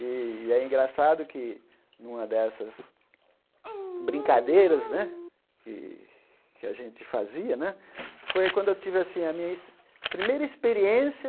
E é engraçado que, numa dessas brincadeiras né que que a gente fazia, foi quando eu tive assim a minha ex primeira experiência